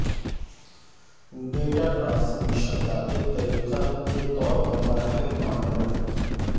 data transmission کا ایک طریقہ کے طور پر مرحلے ماڈلن